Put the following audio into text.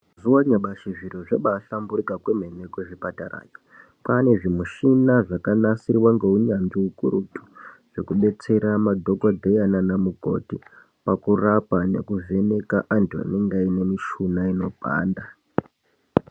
Mazuwa anyamashi zviro zvabahlamburuka kwemene kuzvipatara kwane zvimuchina zvakanasirwa ngeunyanzvi ukurutu zvekudetsera madhokodheya nanamukoti pakurapa nekuvheneka antu anenge aine mishuna inopanda.